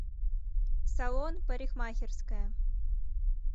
салон парикмахерская